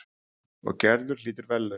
Og Gerður hlýtur verðlaun.